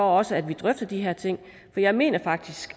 også drøfter de her ting for jeg mener faktisk